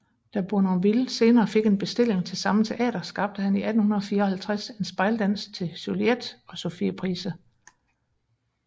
Da Bournonville senere fik en bestilling til samme teater skabte han i 1854 en spejldans til Juliette og Sophie Price